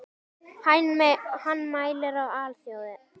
Hann mælir á alþjóða